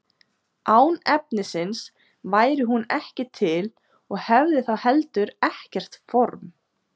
án efnisins væri hún ekki til og hefði þá heldur ekkert form